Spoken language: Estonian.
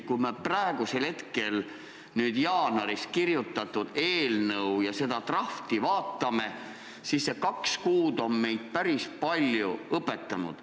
Kui me nüüd vaatame jaanuaris kirjutatud eelnõu ja seda draft'i, siis näeme, et need kaks kuud on meid päris palju õpetanud.